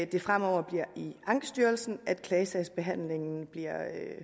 det fremover bliver i ankestyrelsen at klagesagsbehandlingen bliver